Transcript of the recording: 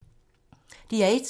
DR1